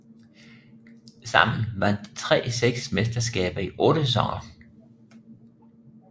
Sammen vandt de tre seks mesterskaber i otte sæsoner